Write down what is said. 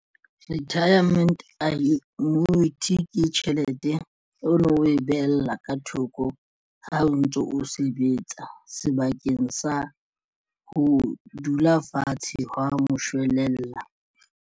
Retirement annuity ke tjhelete ono o e behella ka thoko ha o ntso o sebetsa sebakeng sa ho dula fatshe hwa moshwelella.